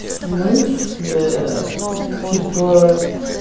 ну типа